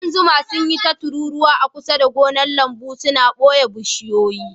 Ƙudan zuma sun yi ta tururuwa a kusa da gonar lambu, suna baye bishiyoyi.